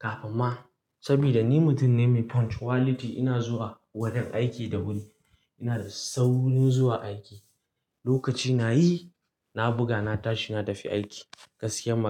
Amma saboda ni mutum ne mai punctuality ina zuwa wurin aiki da wuri. Ina da saurin zuwa aiki, lokaci na yi, na buga, na tashi, na tafi aiki. Gaskiya ma.